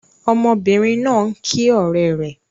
Ọmọbìnrin náà ń kí ọ̀rẹ́ rẹ̀.